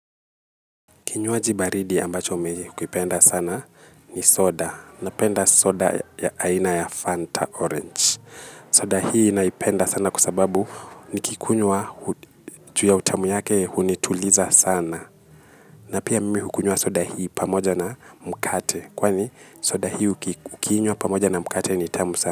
Kinywaji baridi ambacho mi hukipenda sana ni soda. Napenda soda ya aina ya Fanta Orange. Soda hii naipenda sana kusababu nikikunywa chu ya utamu yake hunituliza sana. Na pia mimi hukunywa soda hii pamoja na mkate. Kwani soda hii ukinywa pamoja na mkate ni tamu sana.